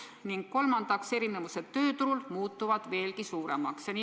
Ning kolmandaks, erinevused tööturul muutuvad veelgi suuremaks.